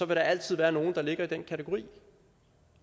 der altid være nogle der ligger i den kategori